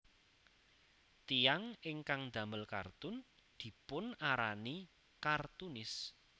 Tiyang ingkang damel kartun dipunarani kartunis